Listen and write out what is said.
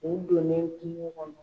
U donnen kungo kɔnɔ.